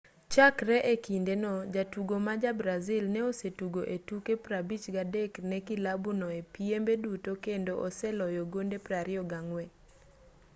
chakre e kinde no jatugo ma ja-brazil no osetugo e tuke 53 ne kilabu no e piembe duto kendo oseloyo gonde 24